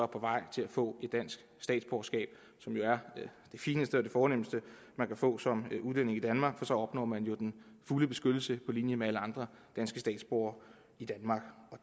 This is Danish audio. på vej til at få et dansk statsborgerskab som jo er det fineste og det fornemste man kan få som udlænding i danmark for så opnår man den fulde beskyttelse på linje med alle andre danske statsborgere i danmark